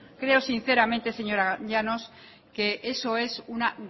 creo sinceramente señora llanos que eso es una